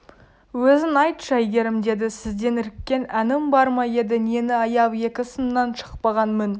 өзің айтшы әйгерім деді сізден іріккен әнім бар ма еді нені аяп екі сыннан шықпаған мін